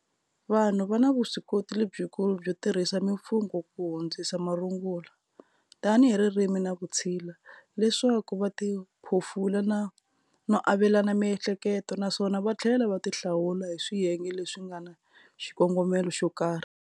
Vanhu vana vuswikoti lebyi kulu byo tirhisa mimfungo ku hundzisa marungula, tani hi ririmi na vutshila, leswaku vatiphofula na avelana miehleketo, naswona vathlela va ti hlawula hi swiyenge leswi ngana xikongomela xokarhi.